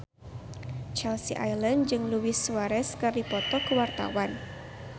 Chelsea Islan jeung Luis Suarez keur dipoto ku wartawan